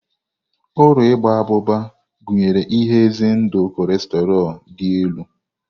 Ụlọ Igba abụba gụnyere ihe ize ndụ kolesterọ dị elu.